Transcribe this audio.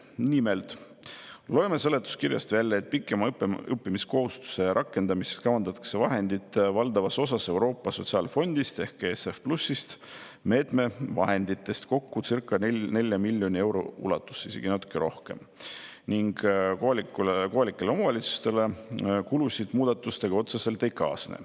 Nimelt loeme seletuskirjast välja, et pikema õppimiskohustuse rakendamiseks kavandatakse vahendid valdavas osas Euroopa Sotsiaalfondist ehk ESF+-ist, kokku circa 4 miljoni euro ulatuses, isegi natukene rohkem, ning kohalikele omavalitsustele muudatustega kulusid otseselt ei kaasne.